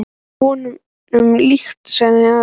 Það var honum líkt, sagði afi.